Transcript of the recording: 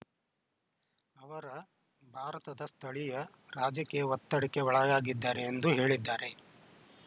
ಅವರ ಭಾರತದ ಸ್ಥಳೀಯ ರಾಜಕೀಯ ಒತ್ತಡಕ್ಕೆ ಒಳಗಾಗಿದ್ದಾರೆ ಎಂದು ಹೇಳಿದ್ದಾರೆ